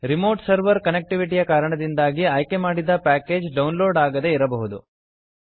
remote server connectivity ಯ ಕಾರಣದಿಂದಾಗಿ ಆಯ್ಕೆ ಮಾಡಿದ ಪ್ಯಾಕೇಜ್ ಡೌನ್ ಲೋಡ್ ಆಗದೇ ಇರಬಹುದು